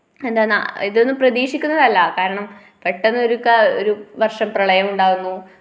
എന്താന്നാ ഇതൊന്നു പ്രദീക്ഷിക്കുന്നതല്ല കാരണം പെട്ടന്ന് ഒരു ക്കാ ഒരു വർഷം പ്രളയമുണ്ടാവുന്നു.